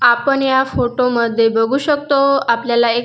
आपण या फोटो मध्ये बघू शकतो आपल्याला एक--